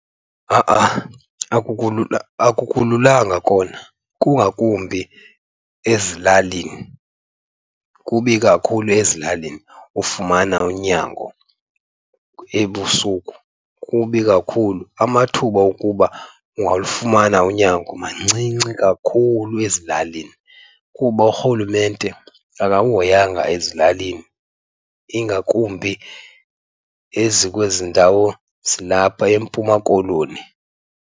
Ha-a akululanga kona, kungakumbi ezilalini. Kubi kakhulu ezilalini ufumana unyango ebusuku, kubi kakhulu. Amathuba okuba ungalufumana unyango mancinci kakhulu ezilalini kuba urhulumente akakuhoyanga ezilalini, ingakumbi ezikwezi ndawo zilapha eMpuma Koloni.